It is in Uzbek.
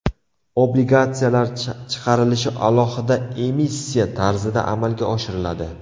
Obligatsiyalar chiqarilishi alohida emissiya tarzida amalga oshiriladi.